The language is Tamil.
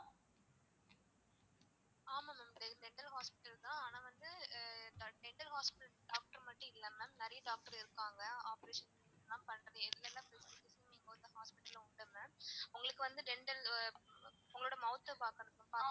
ஆமா ma'am இது dental hospital தான் ஆனா வந்து dental hospital doctor மட்டும் இல்ல ma'am நிறைய doctor இருக்காங்க operation லான் பண்றது எல்லா facilities ம் hospital ல உண்டு ma'am உங்களுக்கு வந்து dental உங்களோட mouth பாக்கணுமா?